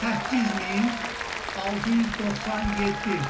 8697.